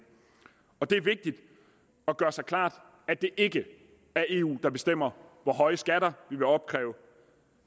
det er vigtigt at gøre sig klart at det ikke er eu der bestemmer hvor høje skatter vi vil opkræve